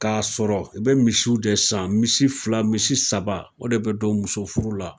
K'a sɔrɔ i be misiw de san misi fila misi saba o de be don muso furu la